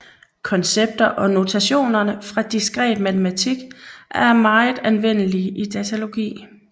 Koncepter og notationer fra diskret matematik er meget anvendelige i datalogi